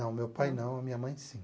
Não, meu pai não, a minha mãe sim.